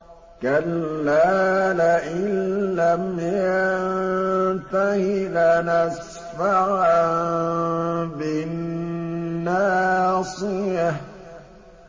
كَلَّا لَئِن لَّمْ يَنتَهِ لَنَسْفَعًا بِالنَّاصِيَةِ